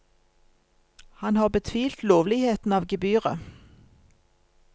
Han har betvilt lovligheten av gebyret.